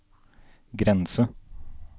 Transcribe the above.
grense